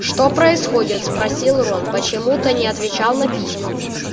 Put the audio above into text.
что происходит спросил рон почему ты не отвечал на письма